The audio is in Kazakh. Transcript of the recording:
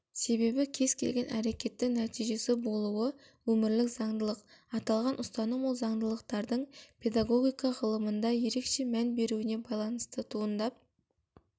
себебі кез-келген әрекеттің нәтижесі болуы өмірлік заңдылық аталған ұстаным сол заңдылықтардың педагогика ғылымында ерекше мән беруіне байланысты туындап